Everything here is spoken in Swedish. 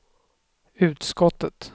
utskottet